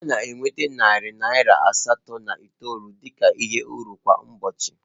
Ọ na-enweta narị naịra asatọ na itoolu dị ka uru kwa ụbọchị